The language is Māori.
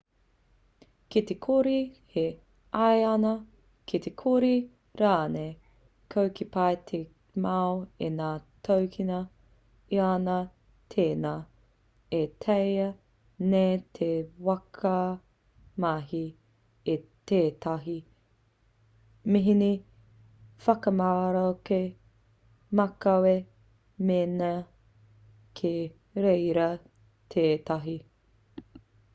ki te kore he aiana ki te kore rānei koe e pai ki te mau i ngā tōkena iana tēnā e taea nei te whakamahi i tētahi mihini whakamaroke makawe mēnā kei reira tētahi